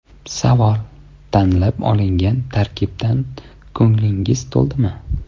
Savol: Tanlab olingan tarkibdan ko‘nglingiz to‘ldimi?